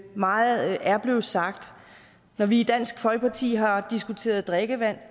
meget er blevet sagt når vi i dansk folkeparti har diskuteret drikkevand